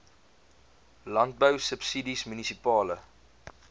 landbou subsidies munisipale